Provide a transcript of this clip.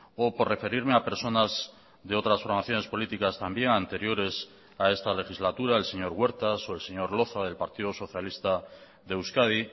o por referirme a personas de otras formaciones políticas también anteriores a esta legislatura el señor huertas o el señor loza del partido socialista de euskadi